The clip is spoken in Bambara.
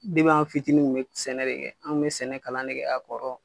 an fitinin kun be sɛnɛ de kɛ, an bɛ sɛnɛ kalan ne kɛ a kɔrɔ